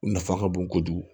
U nafa ka bon kojugu